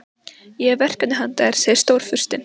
Ég hef verkefni handa þér segir Stórfurstinn.